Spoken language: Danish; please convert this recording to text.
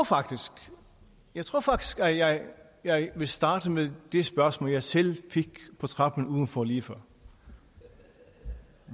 jeg tror faktisk at jeg jeg vil starte med det spørgsmål jeg selv fik på trappen udenfor lige før